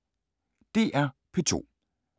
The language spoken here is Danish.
DR P2